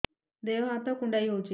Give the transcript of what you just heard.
ଦେହ ହାତ କୁଣ୍ଡାଇ ହଉଛି